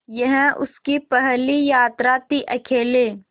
यह उसकी पहली यात्रा थीअकेले